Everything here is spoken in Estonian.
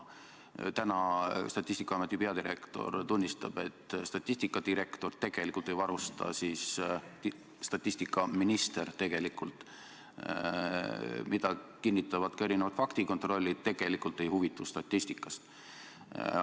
Täna Statistikaameti peadirektor tunnistab, et minister tegelikult – seda kinnitavad ka erinevad faktikontrollid – ei huvitu statistikast.